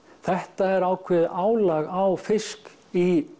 þetta er ákveðið álag á fisk í